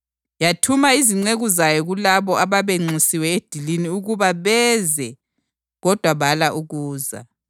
Yathuma izinceku zayo kulabo ababenxusiwe edilini ukuba beze kodwa bala ukuza.